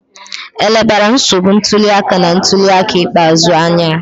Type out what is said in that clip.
E lebara nsogbu ntuli aka na ntuli aka ikpeazụ anya?